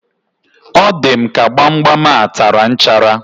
O di m ka gbamgbam a tara nchara